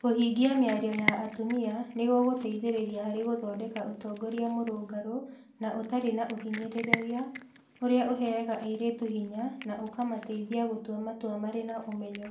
Kũingĩhia mĩario ya atumia nĩ gũgũteithĩrĩria harĩ gũthondeka ũtongoria mũrũngarũ na ũtarĩ na ũhinyanĩrĩria ũrĩa ũheaga airĩtu hinya na ũkamateithia gũtua matua marĩ na ũmenyo.